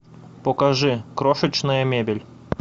покажи крошечная мебель